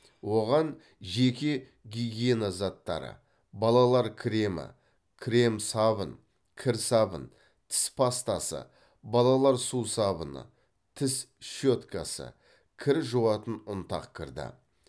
оған жеке гигиена заттары балалар кремі крем сабын кір сабын тіс пастасы балалар сусабыны тіс щеткасы кір жуатын ұнтақ кірді